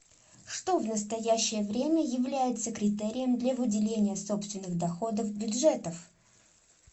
что в настоящее время является критерием для выделения собственных доходов бюджетов